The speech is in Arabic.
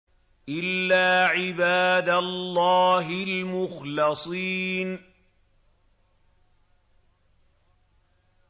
إِلَّا عِبَادَ اللَّهِ الْمُخْلَصِينَ